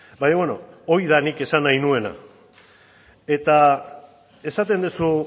baina beno hori da nik esan nahi nuena eta esaten duzu